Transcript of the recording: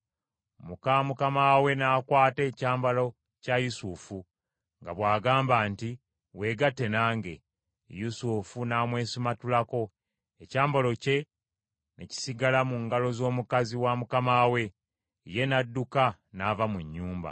muka mukama we n’akwata ekyambalo kya Yusufu nga bw’agamba nti, “Weegatte nange.” Yusufu n’amwesimatulako, ekyambalo kye ne kisigala mu ngalo z’omukazi wa mukama we. Ye n’adduka n’ava mu nnyumba.